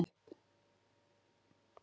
Takið það ekki illa upp.